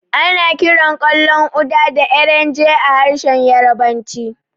Ana kiran ƙwallon Uda da Erenje a harshen Yarabanci.